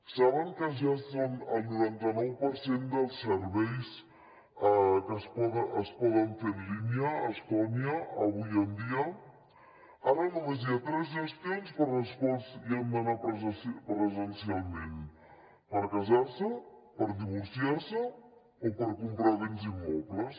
saben que ja són el noranta nou per cent dels serveis que es poden fer en línia a estònia avui dia ara només hi ha tres gestions per a les quals hi han d’anar presencialment per casar se per divorciar se o per comprar béns immobles